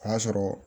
O y'a sɔrɔ